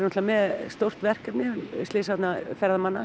með stórt verkefni